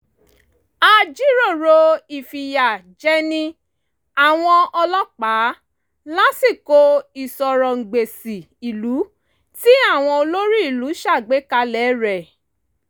a jíròrò ìfìyà jẹni àwọn ọlọ́pàá lásìkò ìsọ̀rọǹgbèsì ìlú tí àwọn olórí ìlú ṣàgbékalẹ̀ rẹ̀